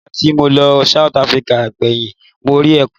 Nígbà tí mo lọ South Africa gbẹ̀yìn mo rí ẹkùn.